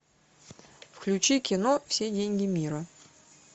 включи кино все деньги мира